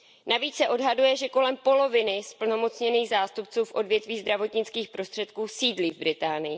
Navíc se odhaduje, že kolem poloviny zplnomocněných zástupců v odvětví zdravotnických prostředků sídlí v Británii.